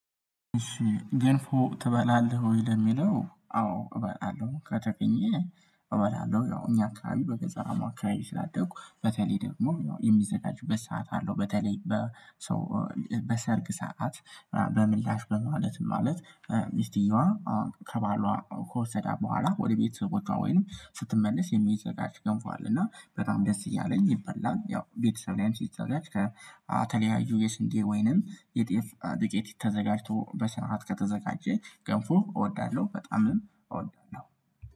እሺ ገንፎ ትበላለህ ወይ? ለሚለው አዎ እበላለሁ ከተገኘ እበላለሁ። ያው እኛ አካባቢ በገጠራማ አካባቢ ስላደኩ በተለይ ደግሞ ያው የሚዘጋጅበት ሰዓት አለው። በተለይ በሰርግ ሰዓት በምላሽ በማለት ማለት ሚስቲየዋ ከባሏ ከወሰዳት በኋላ ወደ ቤተሰቦቿ ወይንም ስትመለስ የሚዘጋጅ ገንፎ አለ። እና በጣም ደስ እያለኝ ይበላል ያው ቤተሰብ ላይ አንቺ ይዘጋጅ። ከተለያዩ የስንዴ ወይንም የጤፍ ዱቄት ተዘጋጅቶ በሰአት ከተዘጋጀ ገንፎ እወዳለሁ። በጣምም እወዳለሁ